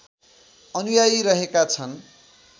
अनुयायी रहेका छन